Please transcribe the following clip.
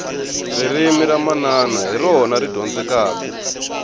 ririmi ra manana hi rona ri dyondzekaku